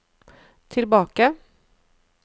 tilbake